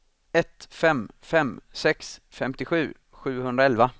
ett fem fem sex femtiosju sjuhundraelva